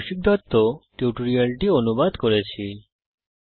আমি কৌশিক দত্ত এই টিউটোরিয়াল টি অনুবাদ করেছি এতে অংশগ্রহন করার জন্য ধন্যবাদ